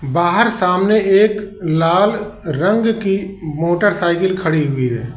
बाहर सामने एक लाल रंग की मोटरसाइकल खड़ी हुई है।